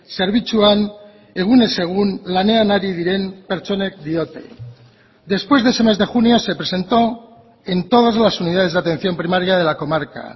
zerbitzuan egunez egun lanean ari diren pertsonek diote después de ese mes de junio se presentó en todas las unidades de atención primaria de la comarca